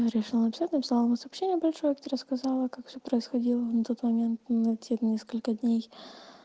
и решила написать написала ему сообщение большое как ты рассказала как всё происходило на тот момент на те несколько дней